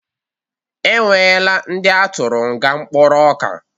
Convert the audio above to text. Ọ nwela ndi atụrụ nga mkpụrụ ọka